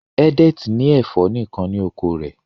Edet ní ẹfọ nìkàn ní oko rẹ